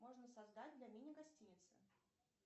можно создать для мини гостиницы